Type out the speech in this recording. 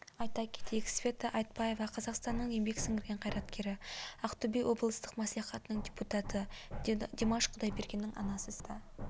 айта кетейік света айтбаева қазақстанның еңбек сіңірген қайраткері ақтөбе облыстық мәслихатының депутаты димаш құдайбергеннің анасы света